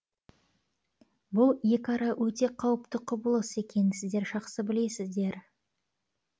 бұл екіара өте қауіпті құбылыс екенін сіздер жақсы білесіздер